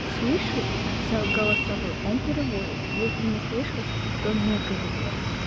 слышит голосовой то он переводит если не слышит то не переводит